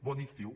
bon estiu